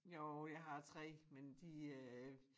Jo jeg har 3 men de øh